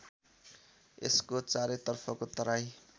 यसको चारैतर्फको तराई